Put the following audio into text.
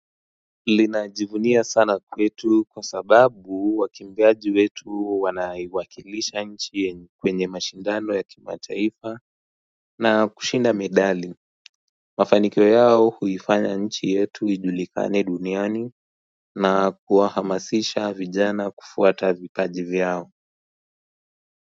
Linajivunia sana kwetu kwa sababu wakimbiaji wetu wanaiwakilisha nchi yenye kwenye mashindano ya kimataifa na kushinda medali. Mafaniko yao huifanya nchi yetu ijulikane duniani na kuwahamasisha vijana kufuata vipaji vyao.